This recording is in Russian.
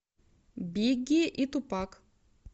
бигги и тупак